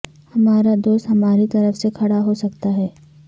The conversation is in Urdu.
ہمارا دوست ہماری طرف سے کھڑا ہو سکتا ہے